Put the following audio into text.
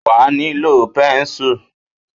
Wà a nílò pẹ́ńsùl.